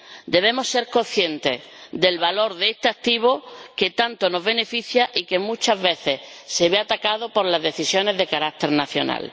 Debemos ser conscientes del valor de este activo, que tanto nos beneficia y que muchas veces se ve atacado por decisiones de carácter nacional.